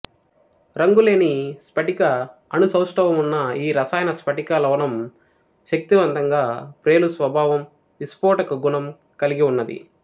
రంగులేని స్పటిక అణుసౌష్టవమున్న ఈ రసాయన స్పటిక లవణం శక్తివంతంగా ప్రేలు స్వాభావం విస్పోటక గుణం కల్గిఉన్నది